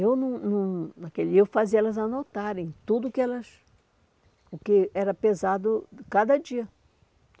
E eu não não naquele e eu fazia elas anotarem tudo o que elas... o que era pesado cada dia.